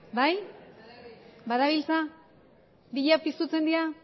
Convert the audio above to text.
bai badabiltza biak pizten dira